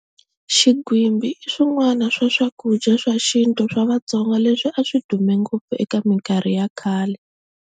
Xinghwimbi i swin'wani swa swakudya swa xinto swa Vatsonga leswi a swi dume ngopfu eka minkarhi ya khale.